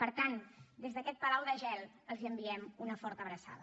per tant des d’aquest palau de gel els enviem una forta abraçada